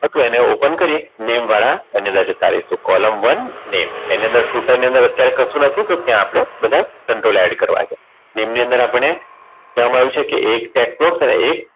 હતું એની open કરીએ નેમ વાળા એની અંદર જતા રહીશું column one name એની અંદર scootar ની અંદર અત્યારે કશું નથી તો ત્યાં આપણે બધા control add કરવા છે અને એની અંદર આપણને કહેવામાં આવ્યું છે કે એક tax box અને એક